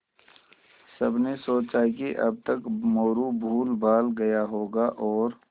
सबने सोचा कि अब तक मोरू भूलभाल गया होगा और